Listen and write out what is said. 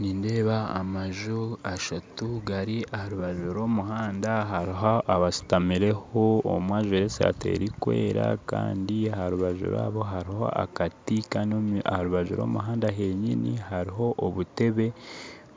Nindeeba amaju ashatu gari aharubaju rw'omuhanda haruho abashutamireho omwe ajwaire esaati erukwera kandi aharubaju rwabo haruho akati kandi aharubaju rw'omuhanda henyini haruho obutebe